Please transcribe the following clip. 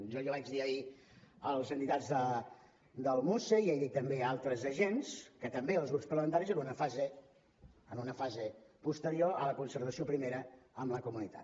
jo ja vaig dir ahir a les entitats del muce i he dit també a altres agents que també els grups parlamentaris eren en una fase posterior a la concertació primera amb la comunitat